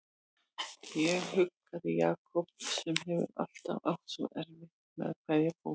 Ég huggaði Jakob sem hefur alltaf átt svo erfitt með að kveðja fólk.